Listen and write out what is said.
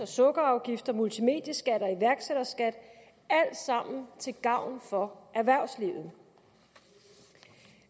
sukkerafgiften multimedieskatten og iværksætterskatten alt sammen til gavn for erhvervslivet